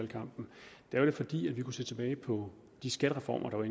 da og det fordi vi kunne se tilbage på de skattereformer der var